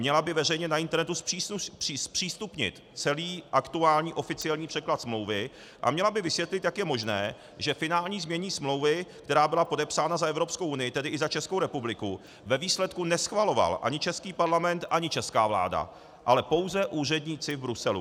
Měla by veřejně na internetu zpřístupnit celý aktuální oficiální překlad smlouvy a měla by vysvětlit, jak je možné, že finální znění smlouvy, která byla podepsána za Evropskou unii, tedy i za Českou republiku, ve výsledku neschvaloval ani český Parlament, ani česká vláda, ale pouze úředníci v Bruselu.